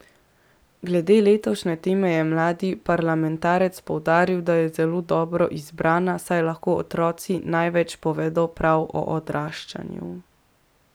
Glede letošnje teme je mladi parlamentarec poudaril, da je zelo dobro izbrana, saj lahko otroci največ povedo prav o odraščanju.